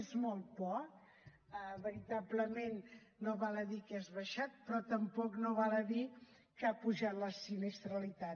és molt poc veritablement no val a dir que has baixat però tampoc no val a dir que ha pujat la sinistralitat